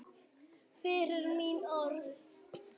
Fyrir mín orð.